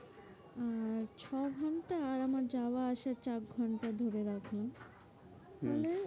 আর ছ ঘন্টার আমার যাওয়া আসা চার ঘন্টা ধরে রাখুন .